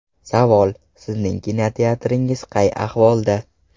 Savol: sizning kinoteatringiz qay ahvolda?